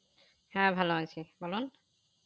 হ্যাঁ ভালো আছি বলুন.